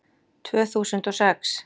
Tvö þúsund og sex